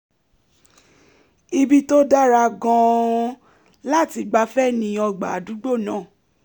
ibi tó dára gan-an láti gbafẹ́ ni ọgbà àdùgbó náà